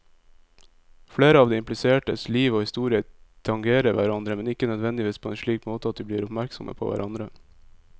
Flere av de implisertes liv og historier tangerer hverandre, men ikke nødvendigvis på en slik måte at de blir oppmerksomme på hverandre.